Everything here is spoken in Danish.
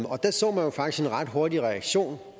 og der så man jo faktisk en ret hurtig reaktion